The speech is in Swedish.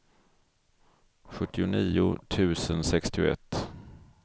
sjuttionio tusen sextioett